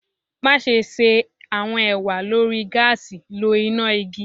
Maṣe ṣe awọn ewa lori gaasi lo ina igi